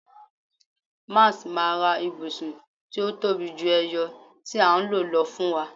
Max ma ra ibusun ti o tobi ju eyo ti a n lo lọ fún wa